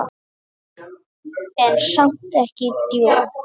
En samt ekki djók.